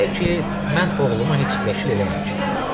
Deyə ki, mən oğlumu heç vəkil eləməmişəm.